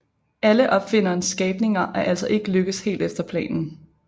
Alle opfinderens skabninger er altså ikke lykkedes helt efter planen